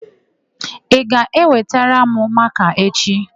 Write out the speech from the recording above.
Ị ga-ewetara m makaa echị?